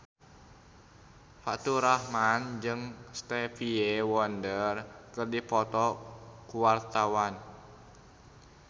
Faturrahman jeung Stevie Wonder keur dipoto ku wartawan